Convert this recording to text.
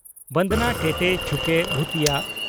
ᱵᱚᱱᱫᱚᱱᱟ ᱴᱮᱴᱮ ᱪᱷᱩᱠᱮ ᱵᱷᱩᱛᱤᱭᱟᱹ